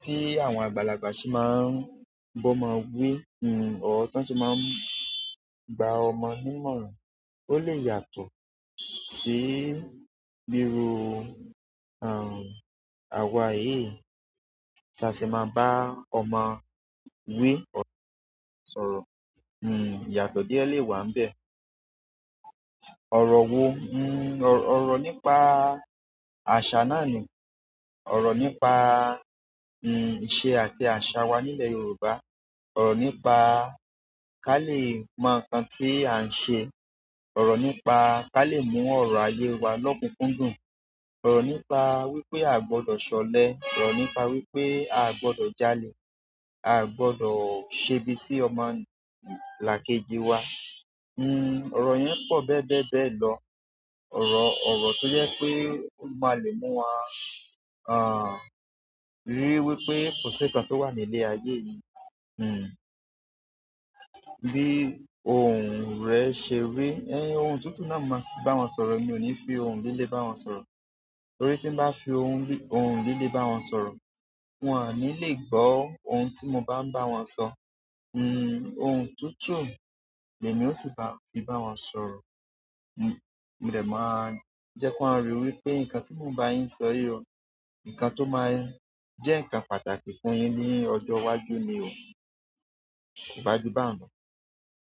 tí àwọn àgbàlagbà se máa b'ọ́mọ wí or tí wọn se máa gba ọmọ ní ìmọ̀ràn. Ó lè yàtọ̀ sí bírú, à, àwa èyí tí a ṣe máa ń bá ọmọ wí ọ̀rọ̀ sọ̀rọ̀. N ìyàtọ̀ díẹ̀ lè wà níbẹ̀. Ọ̀rọ̀ wo? N ọ̀rọ̀ nípa àṣà náà ni, ọ̀rọ̀ nípa, n ṣé àti àṣà wa nílẹ̀ Yorùbá, ọ̀rọ̀ nípa ká le mọ ǹkan tí à ń ṣe, ọ̀rọ̀ nípa ká lè mọ ọ̀rọ̀ ayé wa lọ́kùnkúndùn, ọ̀rọ̀ nípa wípé a gbọdọ̀ ṣọlẹ̀, ọ̀rọ̀ nípa wípé a gbọdọ̀ jalè, a gbọdọ̀ ṣebí sí ọmọ làkejì wa. N ọ̀rọ̀ yẹn pọ̀ bẹ́bẹ́ẹ́ bẹ́ẹ̀ lọ. Ọ̀rọ̀, ọ̀rọ̀ tó jẹ́ pé ó máa lè mú wa, à, ríi wípé kò sí ǹkan tó wà nílé ayé yìí. N bí ohùn rẹ ṣe rí ẹ, ohun tuntun náà màá fi bá wọn sọ̀rọ̀. Mi ò ní fi ohun líle bá wọn sọ̀rọ̀. Torí tí n bá fi ohùn líle bá wọn sọ̀rọ̀, wọn á ní lè gbó ohun tí mo bá ń bá wọn sọ. N ohùn tutu ni èmi ó sì bá, fi bá wọn sọ̀rọ̀. N mi ò dẹ̀ máa jẹ́ kí wọ́n ríi wípé ǹkan tí mò ń bá yín sọ yìí o, ǹkan tó máa jẹ́ ǹkan pàtàkì fún yín ní ọjọ́ iwájú ni o. Kò bá jù báhun."